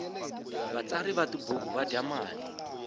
vatsari va tibuku va dya mali